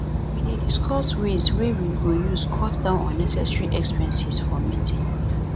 we dey discuss ways wey we go use cut down unnecessary expenses for meeting